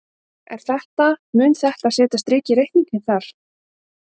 Er þetta, mun þetta setja strik í reikninginn þar?